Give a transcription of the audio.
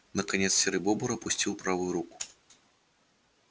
наконец серый бобр опустил правую руку